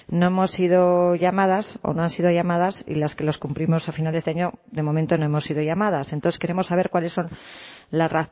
no hemos sido llamadas o no han sido llamadas y las que los cumplimos a finales de año de momento no hemos sido llamadas entonces queremos saber cuáles son las